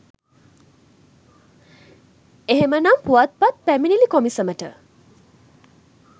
එහෙමනම් පුවත්පත් පැමිණිලි කොමිසමට